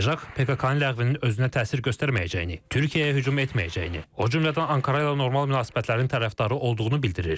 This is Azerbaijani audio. PEJAK PKK-nın ləğvinin özünə təsir göstərməyəcəyini, Türkiyəyə hücum etməyəcəyini, o cümlədən Ankara ilə normal münasibətlərin tərəfdarı olduğunu bildirir.